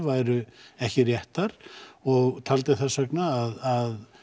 væru ekki réttar og taldi þess vegna að